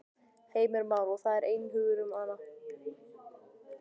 Heimir Már: Og það er einhugur um hana?